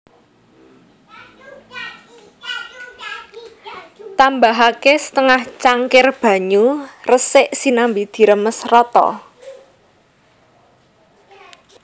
Tambahaké setengah cangkir banyu resik sinambi diremes rata